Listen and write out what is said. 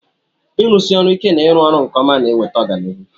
ịrụsi ọrụ ike na ịrụ ọrụ nke ọma na-eweta ọganihu